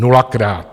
Nulakrát.